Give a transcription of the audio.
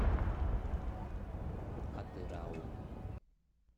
атырау